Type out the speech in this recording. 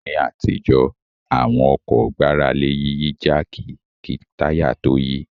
Ní àtijọ́ àwọn ọkọ̀ gbára lé Yíyí jáàkì kí táyà tó yí